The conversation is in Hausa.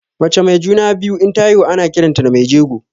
Mace mai juna-biyu inta haihu ana kiranta da mai jego.